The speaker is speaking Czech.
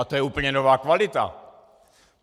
A to je úplně nová kvalita!